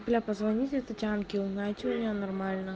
бля позвоните татьянке узнайте у нее нормально